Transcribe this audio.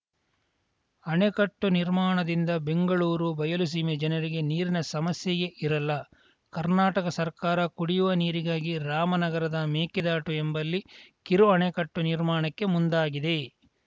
ಅಣೆಕಟ್ಟು ನಿರ್ಮಾಣದಿಂದ ಬೆಂಗಳೂರು ಬಯಲುಸೀಮೆ ಜನರಿಗೆ ನೀರಿನ ಸಮಸ್ಯೆಯೇ ಇರಲ್ಲ ಕರ್ನಾಟಕ ಸರ್ಕಾರ ಕುಡಿಯುವ ನೀರಿಗಾಗಿ ರಾಮನಗರದ ಮೇಕೆದಾಟು ಎಂಬಲ್ಲಿ ಕಿರು ಅಣೆಕಟ್ಟು ನಿರ್ಮಾಣಕ್ಕೆ ಮುಂದಾಗಿದೆ